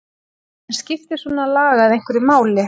En skiptir svona lagað einhverju máli?